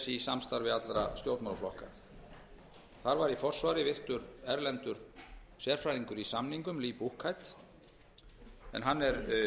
í samstarfi allra stjórnmálaflokka þar var í forsvari virtur erlendur sérfræðingur í samningum lee en hann er